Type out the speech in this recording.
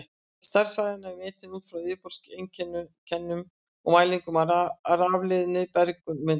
Stærð svæðanna var metin út frá yfirborðseinkennum og mælingum á rafleiðni í berginu undir.